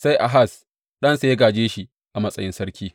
Sai Ahaz ɗansa ya gāje shi a matsayin sarki.